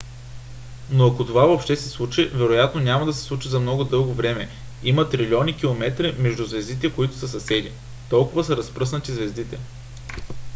но ако това въобще се случи вероятно няма да се случи за много дълго време. има трилиони километри между звездите които са съседи . толкова са разпръснати звездите